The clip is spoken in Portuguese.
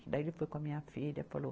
Daí ele foi com a minha filha, falou.